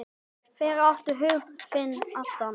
Þeir áttu hug þinn allan.